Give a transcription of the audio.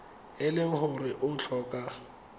e le gore o tlhoka